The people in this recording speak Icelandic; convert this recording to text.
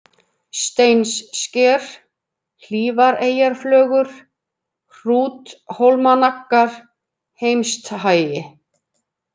Steinssker, Hlífareyjarflögur, Hrúthólmanaggar, Heimsthagi